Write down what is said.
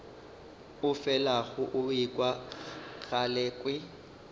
o felago o ekwa galekwe